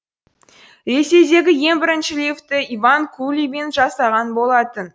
ресейдегі ең бірінші лифтті иван кулибин жасаған болатын